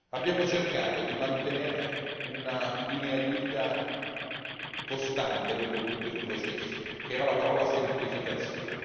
Abbiamo cercato di mantenere una linea guida costante lungo tutto il processo, rappresentata dalla parola semplificazione.